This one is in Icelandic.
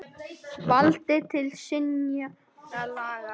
Vald til synjunar laga.